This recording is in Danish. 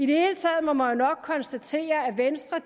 hele taget må man jo nok konstatere at venstre